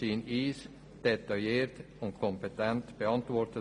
Sie wurden uns detailliert und kompetent beantwortet.